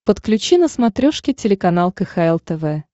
подключи на смотрешке телеканал кхл тв